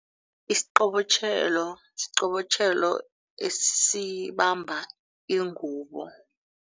Isiqobotjhelo siqobotjhelo esibamba ingubo.